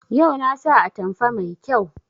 Yau na sa atamfa mai kyau